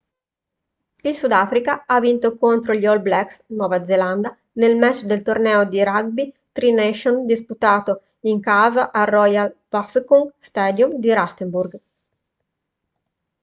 il sudafrica ha vinto contro gli all blacks nuova zelanda nel match del torneo di rugby tri nations disputato in casa al royal bafokeng stadium di rustenburg